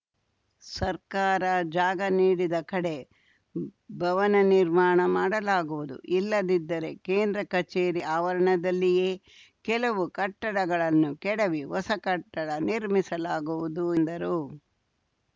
ಸರ್ಕಾರ ಜಾಗ ನೀಡಿದ ಕಡೆ ಭವನ ನಿರ್ಮಾಣ ಮಾಡಲಾಗುವುದು ಇಲ್ಲದಿದ್ದರೆ ಕೇಂದ್ರ ಕಚೇರಿ ಆವರಣದಲ್ಲಿಯೇ ಕೆಲವು ಕಟ್ಟಡಗಳನ್ನು ಕೆಡವಿ ಹೊಸ ಕಟ್ಟಡ ನಿರ್ಮಿಸಲಾಗುವುದು ಎಂದರು